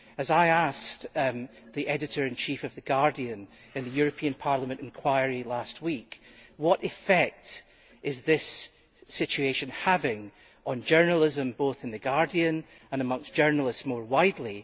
I asked the Editor in Chief of The Guardian in the European Parliament enquiry last week what effect this situation is having on journalism, both in The Guardian and amongst journalists more widely.